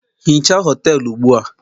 hichaa họtelu ugbu a!